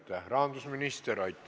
Aitäh, rahandusminister!